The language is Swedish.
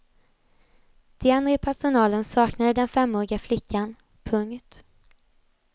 De andra i personalen saknade den femåriga flickan. punkt